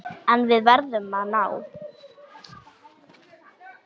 En við verðum að ná